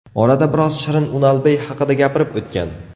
Orada biroz Shirin Unalbey haqida gapirib o‘tgan.